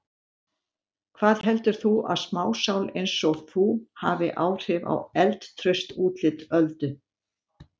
Hvað heldur þú að smásál einsog þú hafi áhrif á eldtraust útlit Öldu?